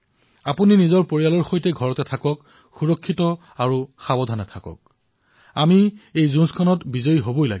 আপোনালোকে নিজৰ পৰিয়ালৰ সৈতে ঘৰতে থাকক সুৰক্ষিত আৰু সাৱধান হৈ থাকক এই যুদ্ধত আমি জয়ী হব লাগিব